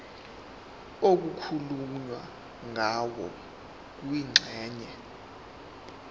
okukhulunywe ngayo kwingxenye